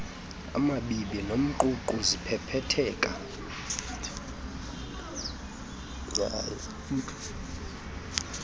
amabibi nomququ ziphephetheka